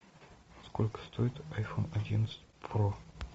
сколько стоит айфон одиннадцать про